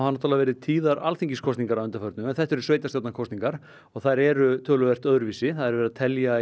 náttúrlega verið tíðar Alþingiskosningar að undanförnu en þetta eru sveitarstjórnarkosningar og þær eru töluvert öðruvísi það er verið að telja